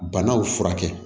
Banaw furakɛ